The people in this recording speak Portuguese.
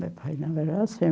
Meu pai não era assim.